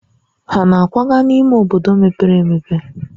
Ha na-akwaga n'ime obodo mepere emepe?